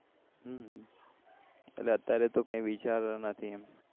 એટલે અત્યારે તો કઈ વિચાર નથી એમ